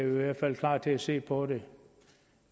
i hvert fald klar til at se på det